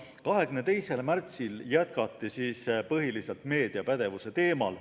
22. märtsil jätkati põhiliselt meediapädevuse teemal.